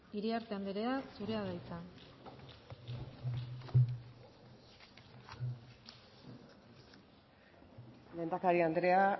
iriarte andrea zurea da hitza lehendakari andrea